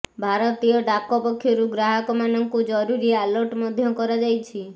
ଭାରତୀୟ ଡାକ ପକ୍ଷରୁ ଗ୍ରାହକମାନଙ୍କୁ ଜରୁରି ଆଲର୍ଟ ମଧ୍ୟ କରାଯାଇଛି